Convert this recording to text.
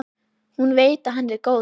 Hún veit að hann er góður.